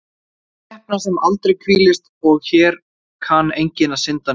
Regla Þalesar kemur aðallega að góðum notum í rúmfræði Forngrikkja.